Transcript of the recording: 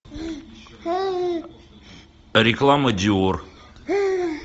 реклама диор